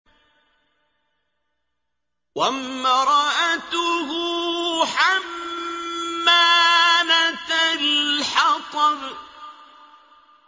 وَامْرَأَتُهُ حَمَّالَةَ الْحَطَبِ